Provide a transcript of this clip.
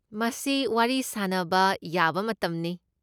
ꯃꯁꯤ ꯋꯥꯔꯤ ꯁꯥꯅꯕ ꯌꯥꯕ ꯃꯇꯝꯅꯤ꯫